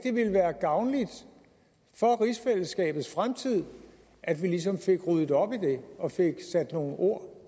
være gavnligt for rigsfællesskabets fremtid at vi ligesom fik ryddet op i det og fik sat nogle ord